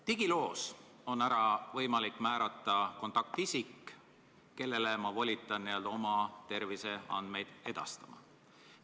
Digiloos on võimalik kindlaks määrata kontaktisik, kellele ma luban oma terviseandmeid edastada.